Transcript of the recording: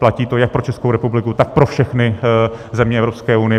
Platí to jak pro Českou republiku, tak pro všechny země Evropské unie.